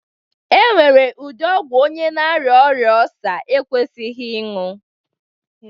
E nwere ụdi ọgwu onye na aria ọria Ọlsa ekwesighi ịñyu.